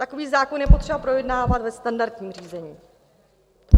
Takový zákon je třeba projednávat ve standardním řízení.